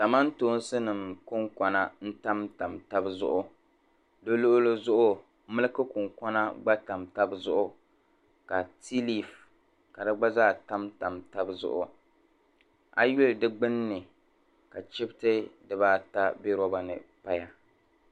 Kamantoonsinima kɔnkuna tam tam tabi zuɣu di lɔɣili zuɣu miki kunkona gba tam tam tabi zuɣu ka teei lifu ka gba zaa tam tam tabi zuɣu a yi yuli di gbuni ka chibti dibaata bɛ lɔba ni doya.